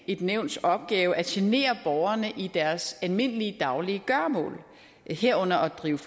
et nævns opgave at genere borgerne i deres almindelige daglige gøremål herunder at drive